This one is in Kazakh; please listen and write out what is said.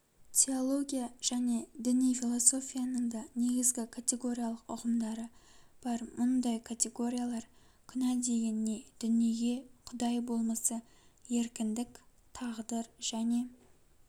теология және діни философияның да негізгі категориялық ұғымдары бар мұндай категориялар күнә деген не дүние құдай болмысы еркіндік тағдыр және